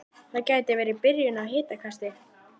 Það gæti verið byrjun á hitakasti